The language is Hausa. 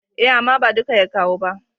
E, amma ba du ya kawo ba.